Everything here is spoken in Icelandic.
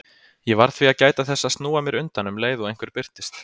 Ég varð því að gæta þess að snúa mér undan um leið og einhver birtist.